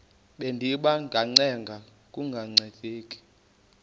bendiba ngacenga kungancedi